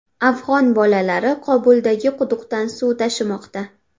Afg‘on bolalari Qobuldagi quduqdan suv tashimoqda.